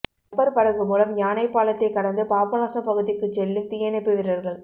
rubber படகு மூலம் யானைப்பாலத்தைக் கடந்து பாபநாசம் பகுதிக்குச் செல்லும் தீயணைப்பு வீரர்கள்